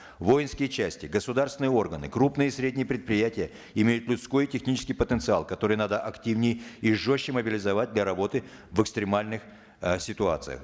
воинские части государственные органы крупные и средние предприятия имеют людской и технический потенциал который надо активнее и жестче мобилизовать для работы в экстремальных э ситуациях